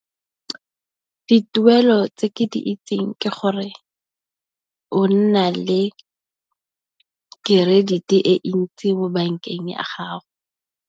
Dituelo tse ke di itseng ke gore o nna le kerediti e ntsi mo bankeng ya gago.